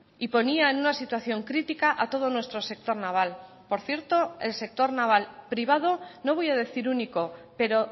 y ponía en una situación crítica a todo nuestro sector naval por cierto el sector naval privado no voy a decir único pero